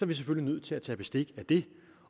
vi selvfølgelig nødt til at tage bestik af det